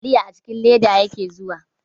Taliya a cikin leda yake zuwa.